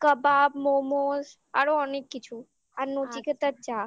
kabab momos আরো অনেক কিছু আর নচিকেতার চা